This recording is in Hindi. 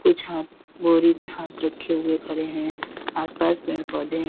कुछ हाथ बोरी पे हाथ रखे हुए खड़े हैं आस पास पेड़ पौधे है।